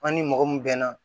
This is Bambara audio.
An ni mɔgɔ mun bɛnna